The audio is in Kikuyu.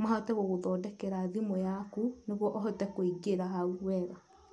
mahote gũgũthondekera thimũ yaku nĩguo ũhote kũingĩra hau wega.